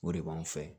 O de b'anw fɛ